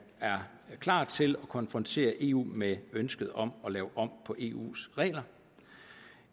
er klar til at konfrontere eu med ønsket om at lave om på eus regler